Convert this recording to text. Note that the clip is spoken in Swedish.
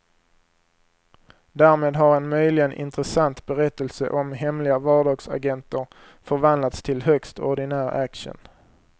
Därmed har en möjligen intressant berättelse om hemliga vardagsagenter förvandlats till högst ordinär action.